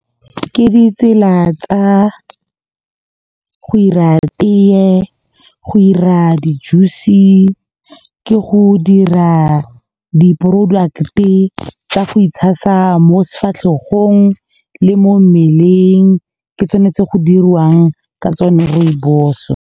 Ke ditsela tsa go 'ira tee, go' ira di-juice, ke go dira di-product-e tsa go itshasa mo se difatlhegong le mo mmeleng. Ke tsone tse go dirwang ka tsone rooibos-o.